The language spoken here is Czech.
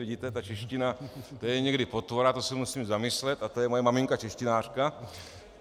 Vidíte, ta čeština, to je někdy potvora, to se musím zamyslet, a to je moje maminka češtinářka.